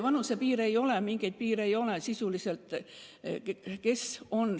Vanusepiiri ei ole, üldse mingeid piire sisuliselt ei ole.